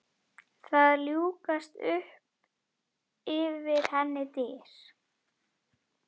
Það ljúkast upp fyrir henni dyr.